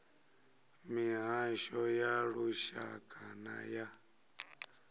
mihasho ya lushaka na ya